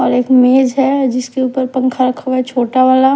और एक मेज है जिसके ऊपर पँखा रखा हुआ है छोटा वाला --